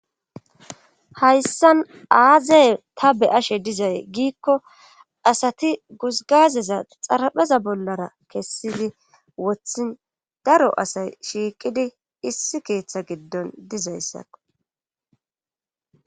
hayssan aazey ta be ashe dizay giikko asati guzgazeza xarapheza bollara kessidi wothin daro asay shiiqidi issi keeththa giddon dizayssakko